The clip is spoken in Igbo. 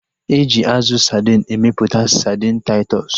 Eji azụ sadin emeputa sadin Taịtọs